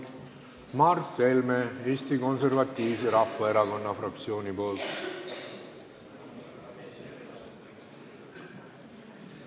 Mart Helme Eesti Konservatiivse Rahvaerakonna fraktsiooni nimel.